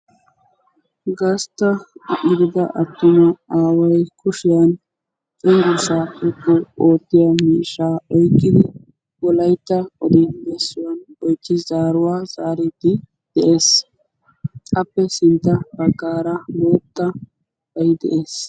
gastta ordde attuma aaway kushiya cenggurssa xoqqu oottiya miishsha oyqqidi Wolaytta oddi-bessuwanne oychchi zaaruwaa zaaridi de'ees. appe sintta baggaara bootabay de'ees.